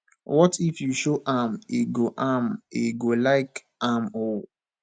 what if you show am e go am e go fit like am oo